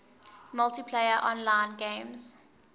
multiplayer online games